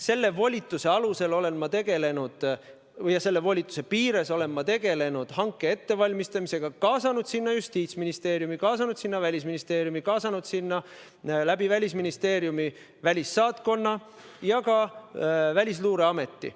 Selle volituse alusel ja selle volituse piires olen ma tegelenud hanke ettevalmistamisega, kaasanud sinna Justiitsministeeriumi, kaasanud sinna Välisministeeriumi, kaasanud sinna läbi Välisministeeriumi välissaatkonna ja ka Välisluureameti.